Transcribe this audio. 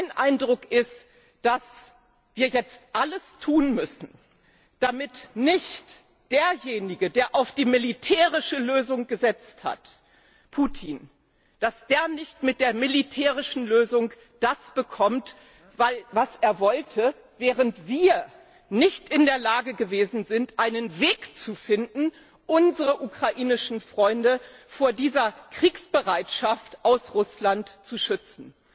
Mein Eindruck ist, dass wir jetzt alles tun müssen, damit nicht derjenige, der auf die militärische Lösung gesetzt hat Putin mit der militärischen Lösung das bekommt, was er wollte, während wir nicht in der Lage gewesen sind, einen Weg zu finden, unsere ukrainischen Freunde vor dieser Kriegsbereitschaft aus Russland zu schützen.